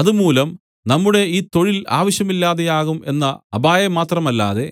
അതുമൂലം നമ്മുടെ ഈ തൊഴിൽ ആവശ്യമില്ലാതെയാകും എന്ന അപായംമാത്രമല്ലാതെ